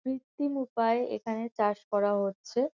কৃত্তিম উপায়ে এখানে চাষ করা হচ্ছে।